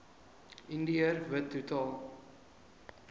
indiër wit totaal